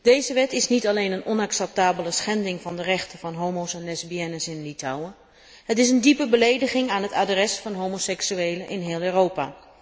Deze wet is niet alleen een onacceptabele schending van de rechten van homo's en lesbiennes in Litouwen, het is een diepe belediging aan het adres van homoseksuelen in heel Europa.